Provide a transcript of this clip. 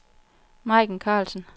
Majken Karlsen